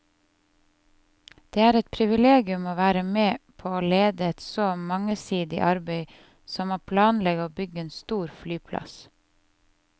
Det er et privilegium å være med på å lede et så mangesidig arbeid som å planlegge og bygge en stor flyplass.